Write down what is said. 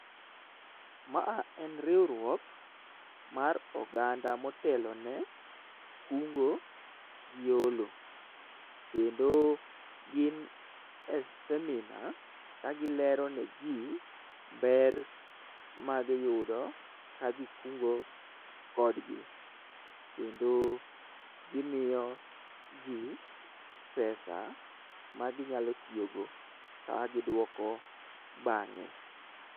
Maa en riwruok mar oganda motelo ne kungo gi olo kendo gin e seminar ka gilero ne jii ber ma giyudo ka gikungo kodgi , kendo gimiyo jii pesa ma ginyalo tiyo go ka giduoko bang'e.